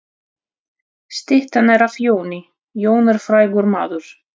Styttan er af Jóni. Jón er frægur maður.